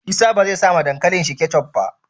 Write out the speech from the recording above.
Isa bezai sa wa dankalin shi ketchup ba